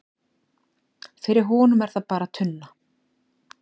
fyrir honum er það bara tunna